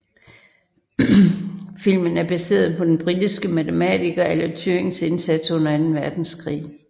Filmen er baseret på den britiske matematiker Alan Turings indsats under Anden Verdenskrig